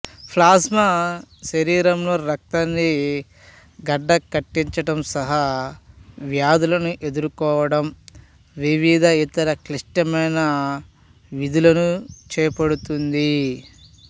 plasma శరీరంలో రక్తాన్ని గడ్డకట్టించడం సహా వ్యాధులను ఎదుర్కోవడం వివిధ ఇతర క్లిష్టమైన విధులను చేపడుతోంది